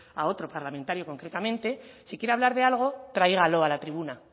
a otro parlamentario concretamente si quiere hablar de algo tráigalo a la tribuna